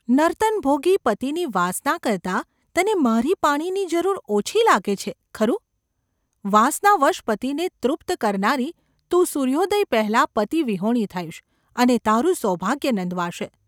‘નર્તનભોગી પતિની વાસના કરતાં તને મારી પાણીની જરૂર ઓછી લાગે છે, ખરું ? વાસનાવશ પતિને તૃપ્ત કરનારી તું સૂર્યોદય પહેલાં પતિવિહોણી થઈશ અને તારું સૌભાગ્ય નંદવાશે.